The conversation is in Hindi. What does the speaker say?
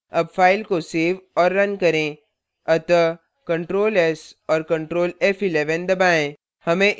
अब file को so और now करें अतः ctrl s और ctrl f11 दबाएँ